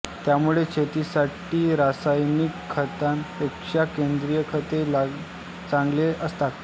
त्यामुळे शेतीसाठी रासायनिक खतांपेक्षा सेंद्रिय खते चांगले असतात